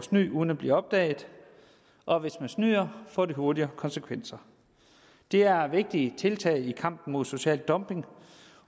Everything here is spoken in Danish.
snyde uden at blive opdaget og hvis man snyder får det hurtigere konsekvenser det er vigtige tiltag i kampen mod social dumping